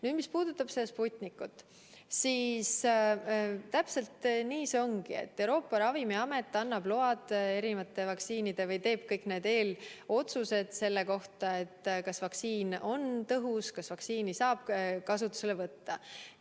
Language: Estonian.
Nüüd, mis puudutab Sputnikut, siis täpselt nii see ongi, et Euroopa Ravimiamet teeb kõik need eelotsused selle kohta, kas vaktsiin on tõhus ja kas vaktsiini saab kasutusele võtta.